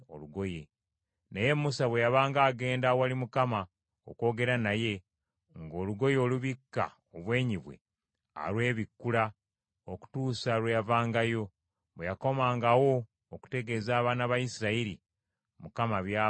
Naye Musa bwe yabanga agenda awali Mukama okwogera naye, ng’olugoye olubikka obwenyi bwe alwebikkula okutuusa lwe yavangayo. Bwe yakomangawo okutegeeza abaana ba Isirayiri Mukama by’amulagidde,